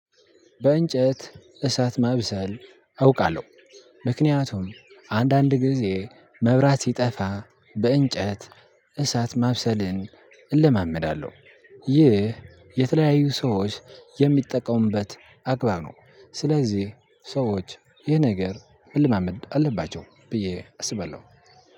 በእንጨት እሳት ማብሰል አውቃለሁ። ምክንያቱም አንዳንድ ጊዜ መብራት ሲጠፋ በእንጨት እሳት ማብሰልን እለማመዳለሁ። ይህ የተለያዩ ሰዎች የሚጠቀሙበት አግባብ ነው። ስለዚህ ሰዎች ይህ ነገር መለማመድ አለባቸው ብዬ አስባለው።